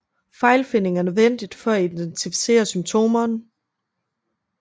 Fejlfinding er nødvendig for at identificere symptomerne